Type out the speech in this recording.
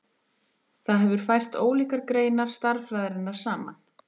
Það hefur fært ólíkar greinar stærðfræðinnar saman.